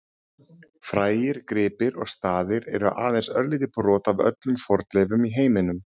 Frægir gripir og staðir eru aðeins örlítið brot af öllum fornleifum í heiminum.